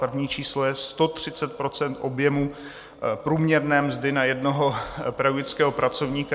První číslo je 130 % objemu průměrné mzdy na jednoho pedagogického pracovníka.